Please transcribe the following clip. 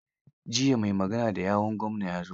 Jiya mai magana da yawun gwamna ya zo.